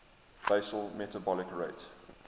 basal metabolic rate